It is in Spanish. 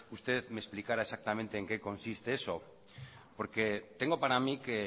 usted me explicara exactamente en qué consiste eso porque tengo para mí que